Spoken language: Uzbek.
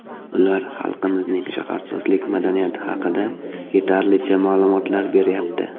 Ular xalqimizning shaharsozlik madaniyati haqida yetarlicha ma’lumotlar beryapti.